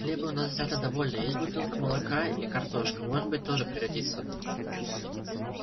хлеба у нас взято довольно есть бутылка молока и картошка может быть тоже пригодится